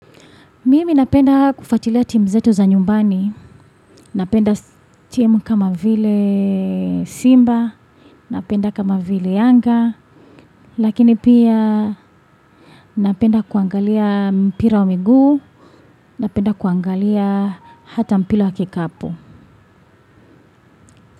Mimi napenda kufuatilia timu zetu za nyumbani, napenda timu kama vile Simba, napenda kama vile Yanga, lakini pia napenda kuangalia mpira wa miguu, napenda kuangalia hata mpira wa kikapo.